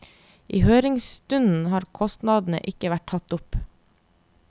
I høringsrunden har kostnadene ikke vært tatt opp.